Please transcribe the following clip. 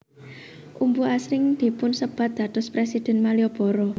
Umbu asring dipunsebat dados Presiden Malioboro